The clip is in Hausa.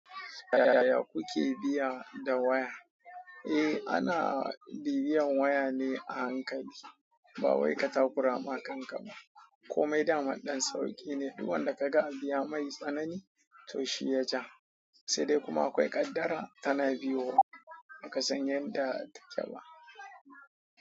Yaya kuke biya da waya? Eh, ana biyan waya ne a hankali. Ba wai ka takura ma kanka ba. Komai daman ɗan sauƙi ne. Duk wanda ka ga abu ya mai tsanani, to shi ya ja. Sai dai kuma akwai ƙaddara tana biyo. Baka san yanda take ba.